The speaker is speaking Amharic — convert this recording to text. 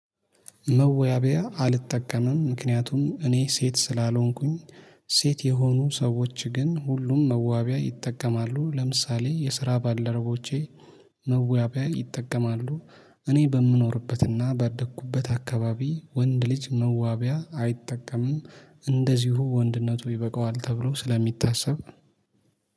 መወያቢያ አልጠቀምም ምክንያቱም እኔ ሴት ስላልሆንኩኝ። ሴት የሆኑ ሰዎች ግን ሁሉም መዋቢያ ይጠቀማሉ ለምሳሌ የስራ ባልድረቦቼ መዋቢያ ይጠቀማሉ። እኔ በምኖርበትና ባደኩበት አካባቢ ወንድ ልጅ መዋቢያ አይጠቀምም። እንደዚሁ ወንድነቱ ይበቃዋል ተብሎ ስለሚታሰብ